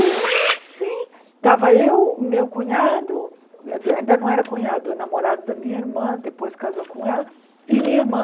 E eu assim, estava eu, meu cunhado, quer dizer, ainda não era cunhado, namorado da minha irmã, depois casou com ela, e minha irmã.